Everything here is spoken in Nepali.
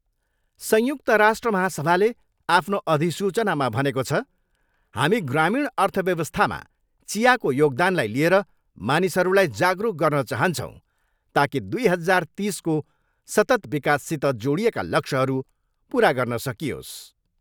संयुक्त राष्ट्र महासभाले आफ्नो अधिसूचनामा भनेको छ, हामी ग्रामीण अर्थ व्यवस्थामा चियाको योगदानलाई लिएर मानिसहरूलाई जागरुक गर्न चाहन्छौँ, ताकि दुई हजार तिसको सतत विकाससित जोडिएका लक्ष्यहरू पुरा गर्न सकियोस्।